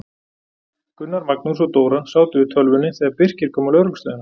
Gunnar, Magnús og Dóra sátu yfir tölvunni þegar Birkir kom á lögreglustöðina.